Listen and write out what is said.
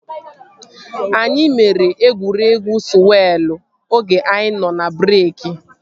Anyị mere egwuregwu sụwelụ oge anyị nọ n'breeki